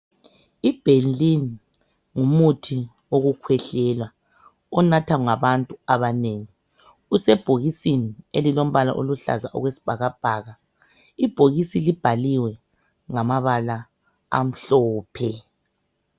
IBenylin ngumuthi wokukhwehlela onathwa ngabantu abanengi usebhokisini elilombala oluhlaza okwesibhakabhaka ibhokisi libhaliwe ngamabala amhlophe.